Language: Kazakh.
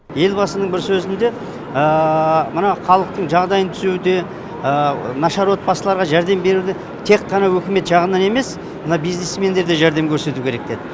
елбасының бір сөзінде мына халықтың жағдайын түзеуде нашар отбасыларға жәрдем беруге тек қана үкімет жағынан емес мына бизнесмендерде жәрдем көрсету керек деді